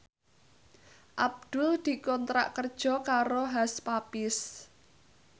Abdul dikontrak kerja karo Hush Puppies